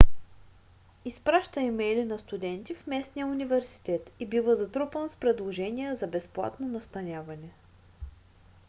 изпраща имейли на студенти в местния университет и бива затрупан с предложения за безплатно настаняване